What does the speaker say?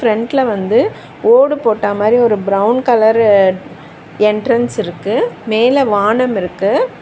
ஃபிரெண்ட்ல வந்து ஓடு போட்ட மாரி ஒரு பிரவுன் கலரு என்ட்ரன்ஸ் இருக்கு மேல வானம் இருக்கு.